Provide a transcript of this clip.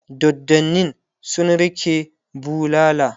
doddanin sun rike bulala